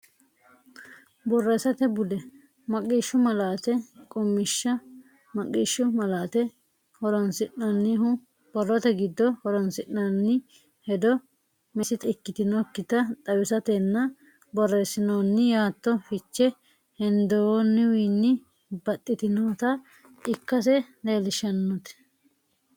Borreessate Bude: Maqishshu Malaate Qummishsha Maqqishshu malaate horonsi’nannihu: borrote giddo horonsi’noonni hedo meessita ikkitinokkita xawisatenna borreessinoonni yaatto fiche hendoonniwiinni baxxitinota ikkase leellishateeti.